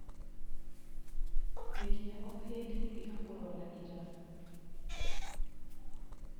Ngeria o hĩndĩ tiga kũrora ira.